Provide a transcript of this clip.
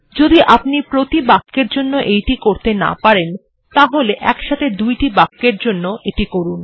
যদি আপনি প্রতি বাক্যের জন্য এইটি করতে না পারেন তাহলে একসাথে দুটি বাক্যের জন্য এটি করুন